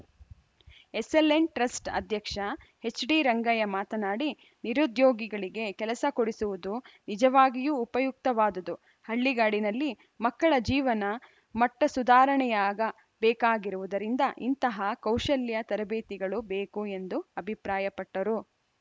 SLN trust ಅಧ್ಯಕ್ಷ ಎಚ್‌ಡಿರಂಗಯ್ಯ ಮಾತನಾಡಿ ನಿರುದ್ಯೋಗಿಗಳಿಗೆ ಕೆಲಸ ಕೊಡಿಸುವುದು ನಿಜವಾಗಿಯೂ ಉಪಯುಕ್ತವಾದುದು ಹಳ್ಳಿಗಾಡಿನಲ್ಲಿ ಮಕ್ಕಳ ಜೀವನ ಮಟ್ಟಸುಧಾರಣೆಯಾಗ ಬೇಕಾಗಿರುವುದರಿಂದ ಇಂತಹ ಕೌಶಲ್ಯ ತರಬೇತಿಗಳು ಬೇಕು ಎಂದು ಅಭಿಪ್ರಾಯಪಟ್ಟರು